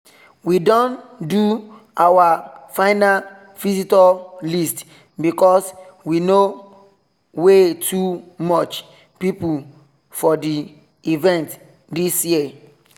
we don do our final visitor list because we no way too much people for the event this year